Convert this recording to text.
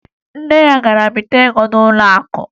Nne ya gara bite ego n'ụlọakụ